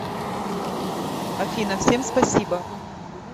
афина всем спасибо